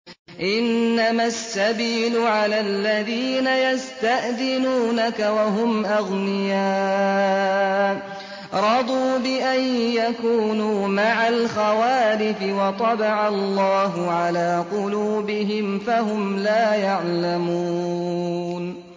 ۞ إِنَّمَا السَّبِيلُ عَلَى الَّذِينَ يَسْتَأْذِنُونَكَ وَهُمْ أَغْنِيَاءُ ۚ رَضُوا بِأَن يَكُونُوا مَعَ الْخَوَالِفِ وَطَبَعَ اللَّهُ عَلَىٰ قُلُوبِهِمْ فَهُمْ لَا يَعْلَمُونَ